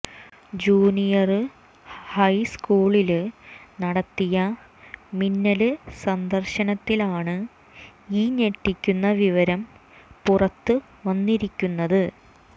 junior ഹൈസ്കൂളില് നടത്തിയ മിന്നല് സന്ദര്ശനത്തിലാണ് ഈ ഞെട്ടിക്കുന്ന വിവരം പുറത്തുവന്നിരിക്കുന്നത്